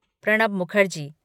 Pranab Mukherjee